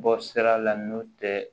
Bɔ sira la n'o tɛ